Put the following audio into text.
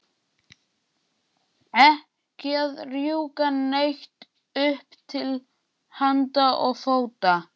Ekki að rjúka neitt upp til handa og fóta.